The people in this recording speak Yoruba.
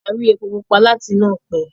a rí epo pupa láti inú òpè